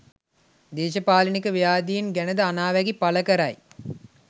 දේශපාලනික ව්‍යාධීන් ගැනද අනාවැකි පලකරයි